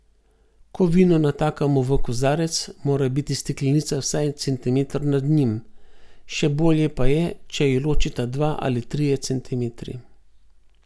Ko vino natakamo v kozarec, mora biti steklenica vsaj centimeter nad njim, še bolje pa je, če ju ločita dva ali trije centimetri.